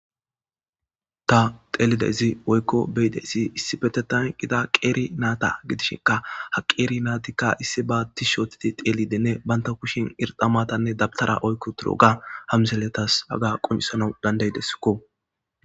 ta teelide izi oykko beyidesi issi petetan qida qeeri naata gidishinka ha qeeri naatikka issi ba dishootiti teeli denne banta kushin irxamatanne dabtara oykko turo ga hamzeletas aga quncisana dandaydesikko